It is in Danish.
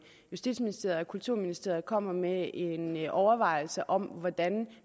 justitsministeriet og kulturministeriet kommer med en overvejelse om hvordan